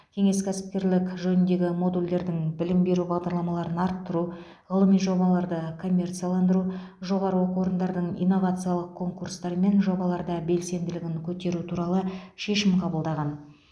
кеңес кәсіпкерлік жөніндегі модульдердің бірілім беру бағдарламаларын арттыру ғылыми жобаларды коммерцияландыру жоғары оқу орындардың инновациялық конкурстар мен жобаларда белсенділігін көтеру туралы шешім қабылдаған